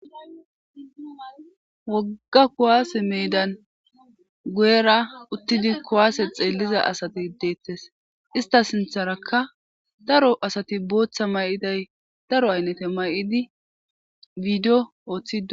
Woogga kuwase medan guyera uttidi kuwase xelliza asati dettes ista sinththarakka daro asati boththa mayiday daro ayinatte mayidii bideo Ooththidi deettes